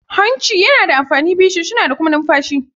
Hancin yana da amfani biyu, shinshina da kuma numfashi.